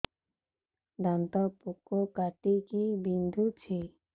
ଦାନ୍ତ ପୋକ କାଟିକି ବିନ୍ଧୁଛି